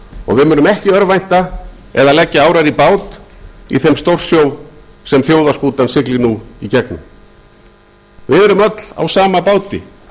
og við munum ekki örvænta eða leggja árar í bát í þeim stjórsjó sem þjóðarskútan siglir nú í gegnum við erum öll á sama báti